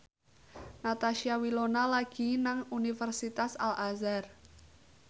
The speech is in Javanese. Natasha Wilona lagi sekolah nang Universitas Al Azhar